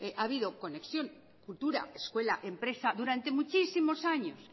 ha habido conexión cultura escuela empresa durante muchísimos años